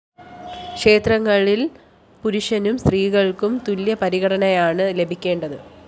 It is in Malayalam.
ക്ഷേത്രങ്ങളില്‍ പുരുഷനും സ്ത്രീയ്ക്കും തുല്യ പരിഗണനയാണ് ലഭിക്കേണ്ടത്